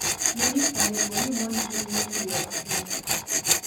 Ne mista nengo ni mwandu gi rumo piyo ahinya